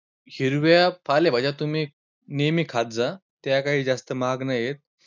हिरव्या पालेभाज्या तुम्ही नेहमी खात जा, त्या कांही जास्त महाग नाही आहेत.